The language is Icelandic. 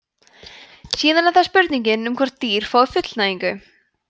síðan er það spurningin um hvort dýr fái fullnægingu